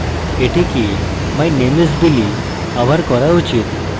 এবং এটিকে my name is billy আবার করা উচিত